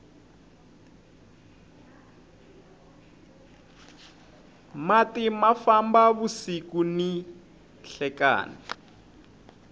mati ma famba vusiku ni nhlekani